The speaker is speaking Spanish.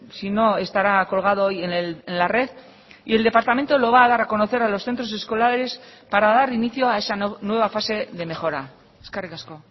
si no estará colgado hoy en la red y el departamento lo va a dar a conocer a los centros escolares para dar inicio a esa nueva fase de mejora eskerrik asko